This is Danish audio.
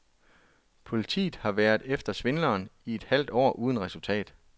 Politiet har været efter svindleren i et halvt år uden resultat.